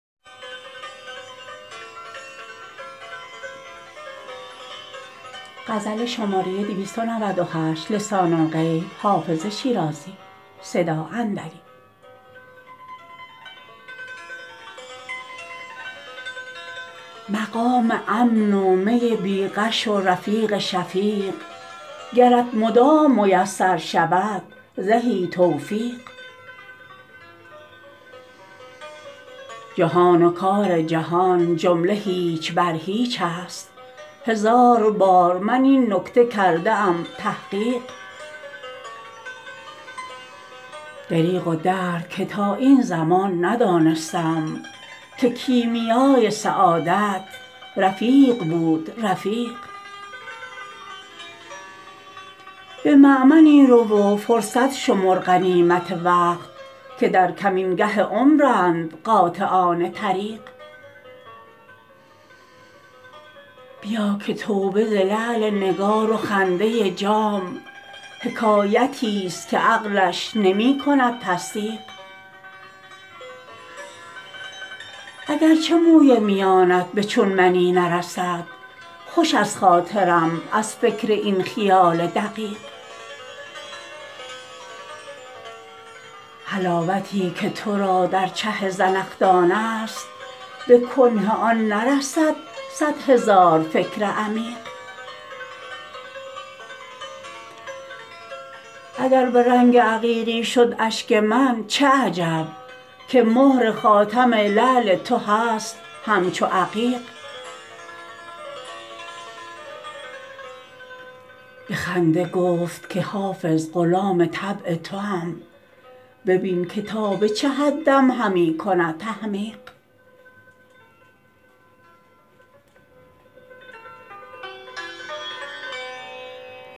مقام امن و می بی غش و رفیق شفیق گرت مدام میسر شود زهی توفیق جهان و کار جهان جمله هیچ بر هیچ است هزار بار من این نکته کرده ام تحقیق دریغ و درد که تا این زمان ندانستم که کیمیای سعادت رفیق بود رفیق به مأمنی رو و فرصت شمر غنیمت وقت که در کمینگه عمرند قاطعان طریق بیا که توبه ز لعل نگار و خنده جام حکایتی ست که عقلش نمی کند تصدیق اگر چه موی میانت به چون منی نرسد خوش است خاطرم از فکر این خیال دقیق حلاوتی که تو را در چه زنخدان است به کنه آن نرسد صد هزار فکر عمیق اگر به رنگ عقیقی شد اشک من چه عجب که مهر خاتم لعل تو هست همچو عقیق به خنده گفت که حافظ غلام طبع توام ببین که تا به چه حدم همی کند تحمیق